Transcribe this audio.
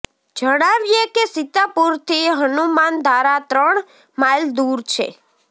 જણાવીઅે કે સીતાપુર થી હનુમાનધારા ત્રણ માઇલ દુર છે